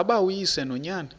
ngaba uyise nonyana